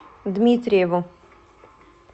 дмитриеву